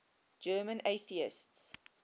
german atheists